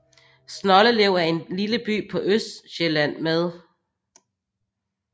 Snoldelev er en lille by på Østsjælland med